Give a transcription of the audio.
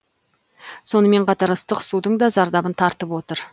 сонымен қатар ыстық судың да зардабын тартып отыр